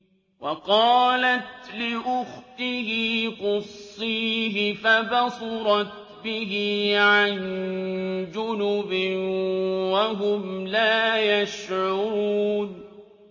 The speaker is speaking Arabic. وَقَالَتْ لِأُخْتِهِ قُصِّيهِ ۖ فَبَصُرَتْ بِهِ عَن جُنُبٍ وَهُمْ لَا يَشْعُرُونَ